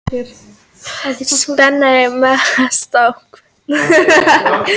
Spennan er að magnast með hverjum deginum.